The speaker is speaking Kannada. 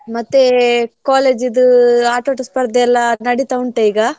ಮತ್ತೆ college ದು ಆಟೋಟ ಸ್ಪರ್ದೆಯಲ್ಲಾ ನಡೀತಾ ಉಂಟಾ ಈಗ?